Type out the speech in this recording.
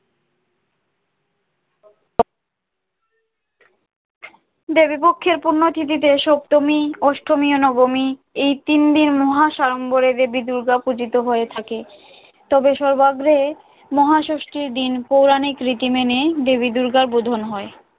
দেবীপক্ষের পুণ্য তিথিতে সপ্তমী, অষ্টমী ও নবমী- এই তিনদিন মহা সাড়ম্বরে দেবী দুর্গা পূজিত হয়ে থাকেন তবে সর্বাগ্রে মহাষষ্ঠীর দিন পৌরাণিক রীতি মেনে দেবী দুর্গার বোধন হয়।